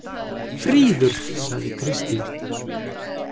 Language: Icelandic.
Fríður, sagði Kristín.